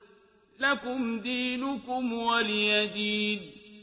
لَكُمْ دِينُكُمْ وَلِيَ دِينِ